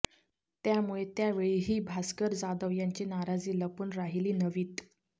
त्यामुळे त्यावेळीही भास्कर जाधव यांची नाराजी लपून राहिली नव्हीत